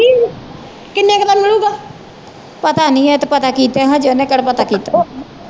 ਪਤਾ ਨਹੀਂ ਇਹ ਤਾ ਪਤਾ ਕੀਤਿਆਂ ਹਜੇ ਉਹਨੇ ਕਿਹੜਾ ਪਤਾ ਕੀਤਾ।